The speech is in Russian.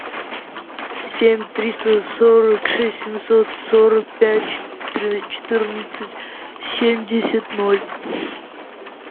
семь триста сорок шесть семьсот сорок пять четырнадцать семьдесят ноль